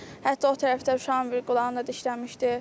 Hətta o tərəfdə uşağın bir qulağını da dişləmişdi.